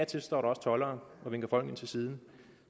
til står der også toldere og vinker folk ind til siden